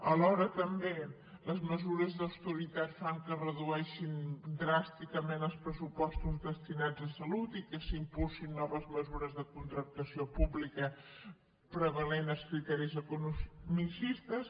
alhora també les mesures d’austeritat fan que es redueixin dràsticament els pressupostos destinats a salut i que s’impulsin noves mesures de contractació pública i hi prevalguin els criteris economicistes